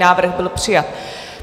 Návrh byl přijat.